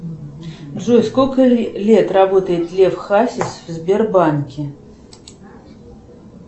джой сколько лет работает лев хасис в сбербанке